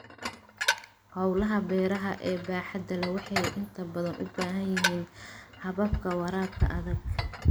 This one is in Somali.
Hawlaha beeraha ee baaxadda leh waxay inta badan u baahan yihiin hababka waraabka adag.